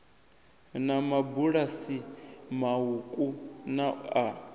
na mabulasi mauku na a